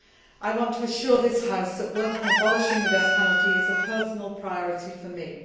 I want to assure this House that work on abolishing the death penalty is a personal priority for